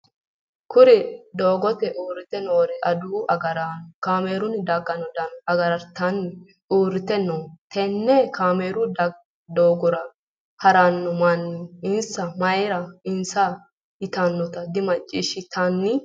Kuri doogote uurite noori adawu agaraano kaameelunni dagano dano gargartanni uurite no tenne kaameelu doogora harano manni isi mayira insa yitanota dimaciishitannanni.